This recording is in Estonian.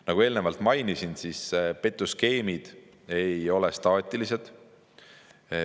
Nagu eelnevalt mainisin, petuskeemid ei ole staatilised.